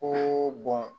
Ko